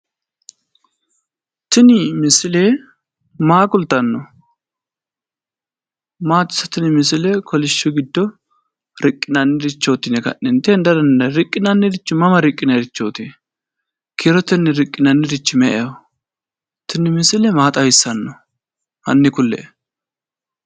Tini misile maa kultanno? maati tini ise misile kolishsho giddo riqqinannirichooti yine heda dandiinanniri riqqinannirichi mama riqqinannirichooti? kiirotenni riqqinannirichi me'eho? Tini misile maa xawissanno?